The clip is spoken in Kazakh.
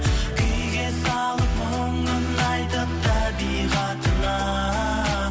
күйге салып мұңын айтып табиғатына